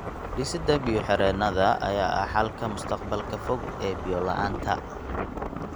Dhisidda biyo-xireennada ayaa ah xalka mustaqbalka fog ee biyo-la'aanta.